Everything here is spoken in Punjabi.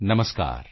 ਨਮਸਕਾਰ